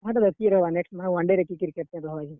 ହେଟାତ କିଏ ରହେବା next ମାନେ one day ରେ କିଏ captain ରହେବା ଯେ।